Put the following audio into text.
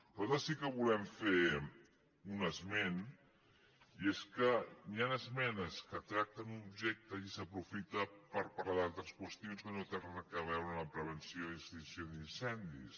nosaltres sí que volem fer un esment i és que hi han esmenes que tracten un objecte i s’aprofita per parlar d’altres qüestions que no tenen a veure amb la pre·venció i extinció d’incendis